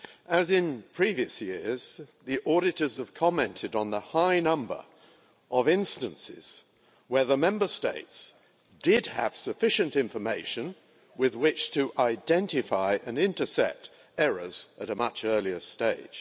As in previous years, the auditors have commented on the high number of instances where the Member States did have sufficient information with which to identify and intercept errors at a much earlier stage.